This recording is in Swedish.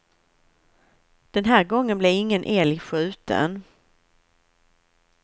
Den här gången blev ingen älg skjuten.